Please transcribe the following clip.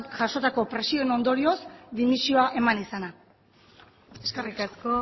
jasotako presioen ondorioz dimisioa eman izana eskerrik asko